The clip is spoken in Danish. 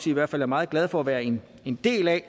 i hvert fald er meget glade for at være en en del af